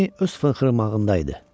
Lenni öz fınxırımağındaydı.